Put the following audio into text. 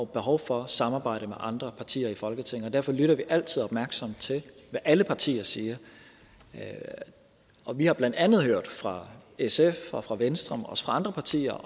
behov for at samarbejde med andre partier i folketinget derfor lytter vi altid opmærksomt til hvad alle partier siger og vi har blandt andet hørt fra sf og fra venstre og også fra andre partier